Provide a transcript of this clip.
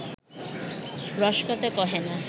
রসকথা কহে না